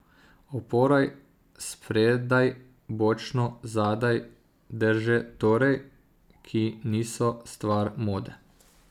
Opora spredaj, bočno, zadaj, drže torej, ki niso stvar mode.